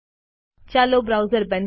ચાલો બ્રાઉઝર બંધ કરીએ